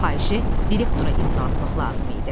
Bu xahişi direktora imza atmaq lazım idi.